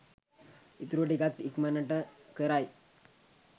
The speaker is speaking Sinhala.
ඉතුරු ටිකත් ඉක්මනට කරයි